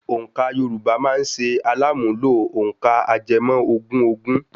Òǹkà Yorùbá máa ṣe alàmúnlò òǹkà ajẹmọ́ ogún ogún.